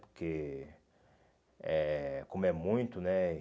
Porque, eh como é muito, né?